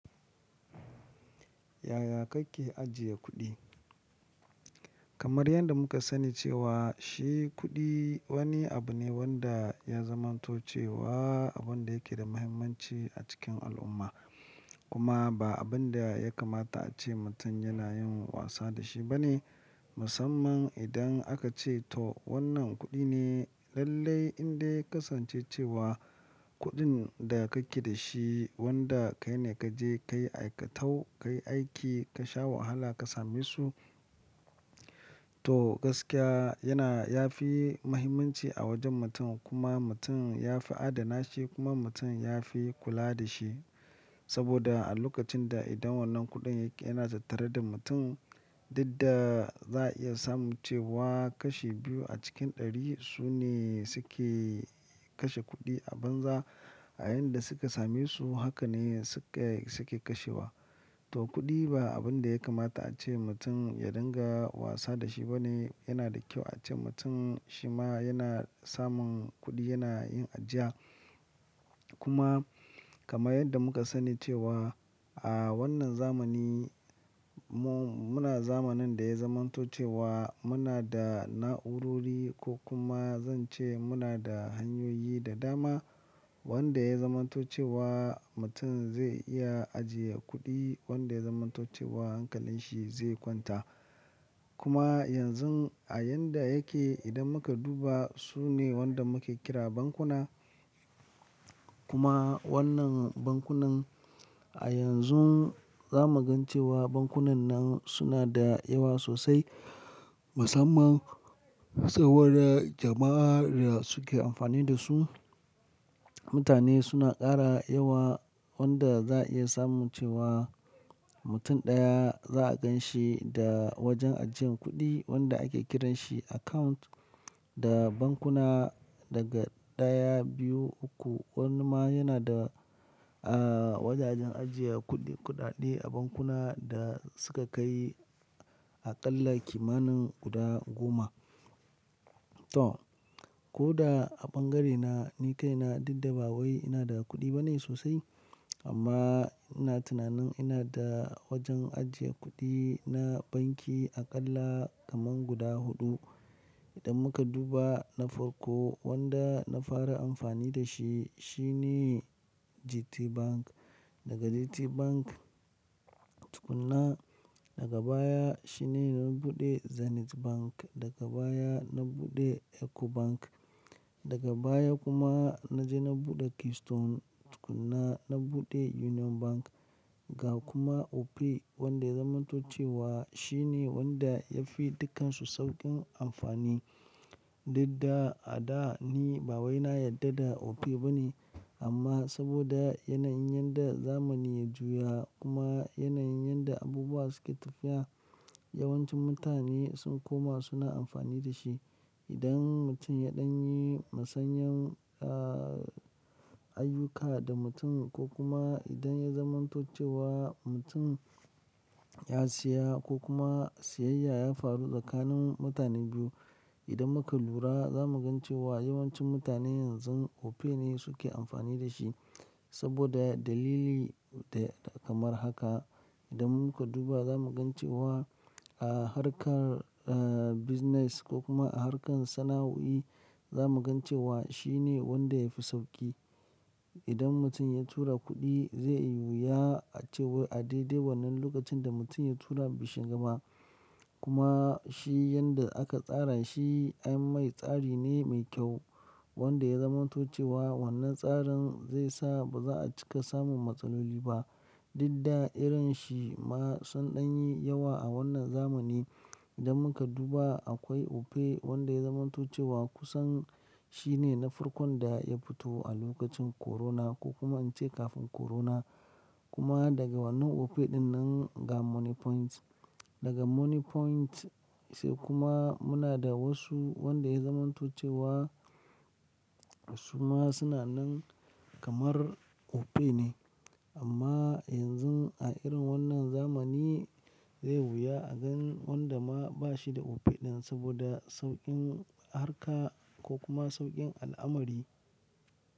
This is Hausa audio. Yaya kake ajiye kuɗi? Kamar yadda muka sani cewa shi kuɗi wani abu ne wanda ya zamantoce wa abun da yake da muhimmanci a cikin al'umma. Kuma ba abun da ya kamata ace mutum yana yin wasa da shi bane. Musamman idan aka ce to wannan kuɗi ne lallai indai ya kasance cewa kuɗin da kake da shi, wanda kai ne ka je ka yi aikatau, ka yi aiki, ka sha wahala ka same su. To gaskiya yana ya fi muhimmanci a wajen mutum kuma mutum ya fi adana shi kuma mutum ya fi kula da shi. Saboda a lokacin da idan wannan kuɗin yake yana tattare da mutum, dadda za a iya samun cewa kashi biyu a cikin ɗari su ne suke kashe kuɗi a banza. A yanda suka same su haka ne suke, suke kashewa. To kuɗi ba abun da ya kamata ace mutum ya dinga wasa da shi bane. Yana da kyau ace mutum shi ma yana samun kuɗi yana yin ajiya. Kuma kamar yadda muka sani cewa a wannan zamani mu muna zamanin da ya zamantoce wa muna da na'urori ko kuma zan ce muna da hanyoyi da dama wanda ya zamantoce wa mutum zai iya ajiye kuɗi wanda ya zamantoce wa hankalin shi zai kwanta. Kuma yanzu a yanda yake idan muka duba su ne wanda muke kira bankuna. Kuma wannan bankunan a yanzu za mu gan cewa bankunan nan suna da yawa sosai. Musamman tsawon jama'ar suke amfani da su. Mutane suna ƙara yawa wanda za a iya samun cewa mutum ɗaya za a gan shi da wajen ajiyan kuɗi wanda ake kiranshi account da bankuna daga ɗaya, biyu, uku wani ma yana da, ah wajajen ajiye kuɗi kuɗaɗe a bankuna da suka kai aƙalla kimanin guda goma. To koda a bangarena ni kaina dukdabawai ina da kuɗi bane sosai. Amma ina tunanin ina da wajen ajiye kuɗi na banki aƙalla kaman guda huɗu. Idan muka duba na farko wanda na fara amfani da shi shine GTBank. Daga GTBank tukuna daga baya shine na buɗe Zenith Bank, daga baya na buɗe Ecobank, daga baya kuma na je na buɗe Keystone tukuna na buɗe Union Bank. Ga kuma Opay wanda ya zamantoce wa shi ne wanda ya fi dukansu sauƙin amfani. Dukda a da ni bawaina yadda da Opay bane. Amma saboda yanayin yadda zamani ya juya kuma yanayin yadda abubuwa suke tafiya, yawancin mutane sun koma suna amfani da shi. Idan mutum ya ɗan yi masanyan ah ayyuka da mutum ko kuma idan ya zamantace wa mutum ya siya ko kuma siyayya ya faru tsakanin mutane biyu, idan muka lura za mu gan cewa yawancin mutane yanzu Opay ne suke amfani da shi. Saboda dalili kamar haka. Idan muka duba za mu gan cewa a harkar ah business ko kuma a harkar sana'oi za mu gan cewa shi ne wanda yafi sauƙi. Idan mutum ya tura kuɗi zai yi wuya ace a daidai wannan lokacin da mutum ya tura bashi gama. Kuma shi yanda aka tsara shi abin mai tsari ne mai kyau wanda ya zamantoce wa wannan tsarin zai sa ba za a cika samun matsaloli ba. Dadda irin shi ma sun ɗan yi yawa a wannan zamani. Idan muka duba akwai Opay wanda ya zamantoce wa kusan shine na farkon da ya fito a lokacin corona ko kuma in ce kafin corona. Kuma daga wannan Opay ɗin nan ga Money Point. Daga Money Point sai kuma muna da wasu wanda ya zamantace wa su ma suna nan kamar Opay ne. Amma yanzu a irin wannan zamani zai yi wuya a gan wanda ma bashi da Opay ɗin saboda sauƙin harka ko kuma sauƙin al'amari.